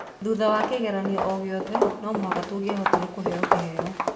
Thutha wa kĩgeranio o gĩothe, no mũhaka tũngĩahotire kũheo kĩheo